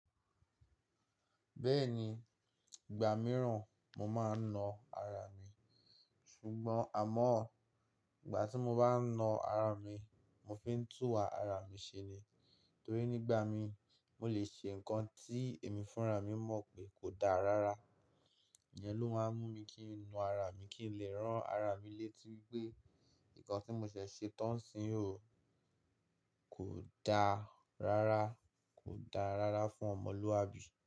Bẹ́ẹ̀ni, ìgbà mìíràn mo máa ń na ara mi, ṣùgbọ́n àmọ́ ìgbà tí mo bá ń na ara mi, mo fi ń tùwà ara mi ṣe ni. Torí nígbà mi mó lè ṣe nǹkan tí èmi fúnra mi mọ̀ pé kò dáa rárá. Ìyẹn ló máa ń mú mi kí n na ara mi kí n lè ràn ara mi létí pé, ǹkan tí mo ṣẹ̀ ṣe tán ń sin o, kò dáa rárá, kò dáa rárá fún ọmọlúwàbí.